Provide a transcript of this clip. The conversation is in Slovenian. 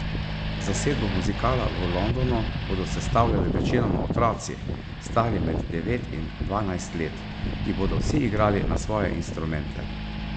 Zasedbo muzikala v Londonu bodo sestavljali večinoma otroci, stari med devet in dvanajst let, ki bodo vsi igrali na svoje instrumente.